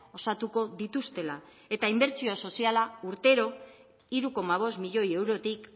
osatuko dituztela eta inbertsio soziala urtero hiru koma bost milioi eurotik